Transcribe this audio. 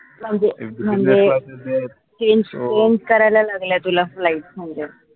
म्हनजे changechange करायला लागल्या तुला flight म्हनजे